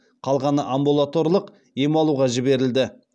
қалғаны амбулаторлық ем алуға жіберілді